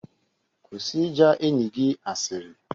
Kwụsị ịja enyi gị asịrị